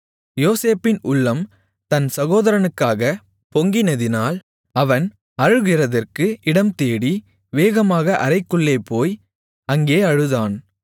யோசேப்பின் உள்ளம் தன் சகோதரனுக்காகப் பொங்கினதால் அவன் அழுகிறதற்கு இடம் தேடி வேகமாக அறைக்குள்ளே போய் அங்கே அழுதான்